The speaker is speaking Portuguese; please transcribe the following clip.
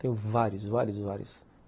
Tenho vários, vários, vários.